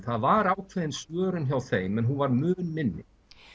það var ákveðin svörun hjá þeim en hún var mun minni